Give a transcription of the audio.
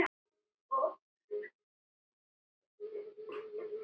Ekki hrópa, ekki öskra!